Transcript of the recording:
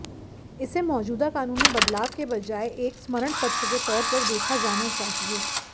इसे मौजूदा कानून में बदलाव के बजाय एक स्मरणपत्र के तौर पर देखा जाना चाहिए